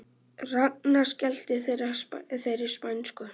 Ragna skellti þeirri spænsku